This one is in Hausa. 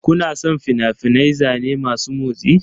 Kuna son fina-finan zane masu motsi?